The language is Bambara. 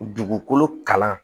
Dugukolo kalan